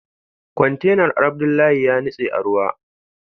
Kwantenan Abdullahi yanitse a ruwa